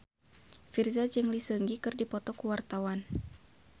Virzha jeung Lee Seung Gi keur dipoto ku wartawan